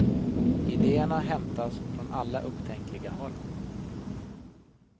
Idéerna hämtas från alla upptänkliga håll.